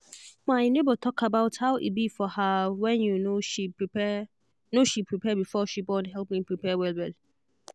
my neighbor talk about how e be for her whenyou knowshe prepare knowshe prepare before she borne help me prepare well well.